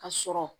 Ka sɔrɔ